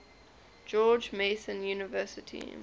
george mason university